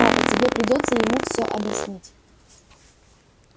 папа тебе придётся ему все объяснить